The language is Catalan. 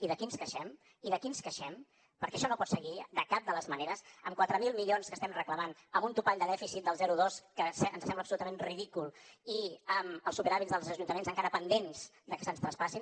i d’aquí ens queixem i d’aquí ens queixem perquè això no pot seguir de cap de les maneres amb quatre mil milions que estem reclamant amb un topall de dèficit del zero coma dos que ens sembla absolutament ridícul i amb els superàvits dels ajuntaments encara pendents de que se’ns traspassin